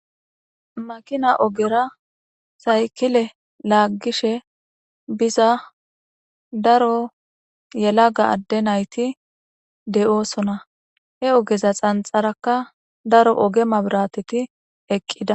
Makina ogera syikle laagishshe biza daro yelaga adee nayitt de'osona.he ogeza xanixarakka daro oge mabirateti eqqida .